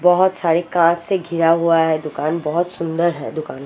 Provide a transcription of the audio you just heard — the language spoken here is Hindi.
बहुत सारी कार से घिरा हुआ है दुकान बहोत सुंदर है दुकान--